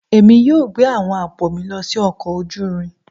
Èmi yóò gbé àwọn àpò mi lọ sí ọkọ̀ ojú irin